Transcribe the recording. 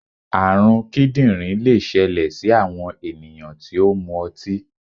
àrùn kíndìnrín lè ṣẹlẹ sí àwọn ènìyàn tí ó mu ọtí.